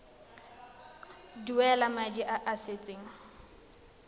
duela madi a a salatseng